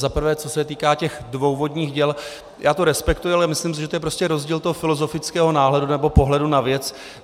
Za prvé, co se týká těch dvou vodních děl, já to respektuji, ale myslím si, že je to prostě rozdíl toho filozofického náhledu nebo pohledu na věc.